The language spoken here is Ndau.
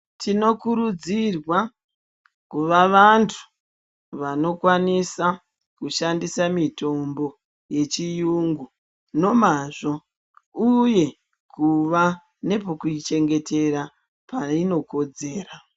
Tinokurudzirwa kuva vantu vanokwanisa kushandisa mitombo yechiyungu nomazvo uye kuva nepokuichengetera painokodzera.